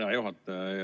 Hea juhataja!